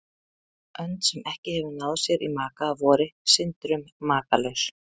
Önd, sem ekki hefur náð sér í maka að vori, syndir um makalaus.